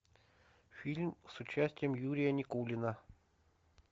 фильм с участием юрия никулина